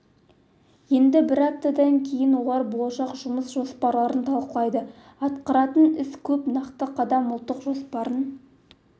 енді бір аптадан кейін олар болашақ жұмыс жоспарларын талқылайды атқаратын іс көп нақты қадам ұлттық жоспарын